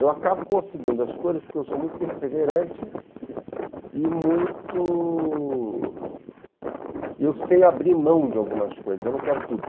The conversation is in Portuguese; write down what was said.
Eu acabo conseguindo as coisas porque eu sou muito perseverante e muito... Eu sei abrir mão de algumas coisas, eu não quero tudo.